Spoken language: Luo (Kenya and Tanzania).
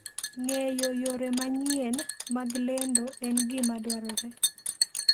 Ng'eyo yore manyien mag lendo en gima dwarore.